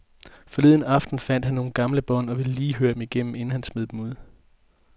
Forleden aften fandt han nogle gamle bånd og ville lige høre dem igennem, inden han smed dem ud.